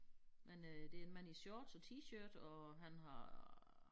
Men øh det en mand i shorts og T-shirt og han har øh